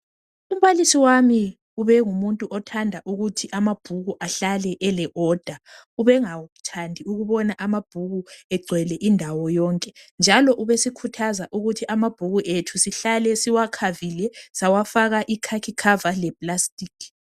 Umbalisi wami ubengumuntu othanda ukuthi amabhuku ahlale eqoqiwe ubengathandi ukubona amabhuku egcwele indawo yonke njalo ubesikhuthaza ukuthi amabhuku ethu sihlale siwakhavile sawafaka ikhakhi cover le plastic.